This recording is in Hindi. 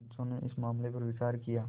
पंचो ने इस मामले पर विचार किया